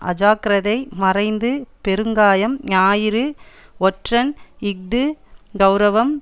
அஜாக்கிரதை மறைந்து பெருங்காயம் ஞாயிறு ஒற்றன் இஃது கெளரவம்